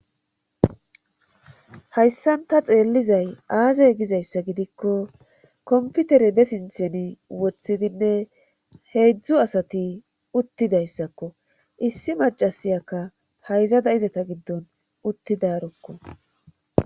Hayssanta xeellizay aazey gizayssa gidikko komputere be sintheni wothidinne heedzdzu asati uttidayssakko issi macasiyakka hayzada izata giddon uttidarokko